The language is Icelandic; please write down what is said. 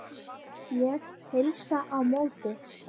Ég heilsa á móti.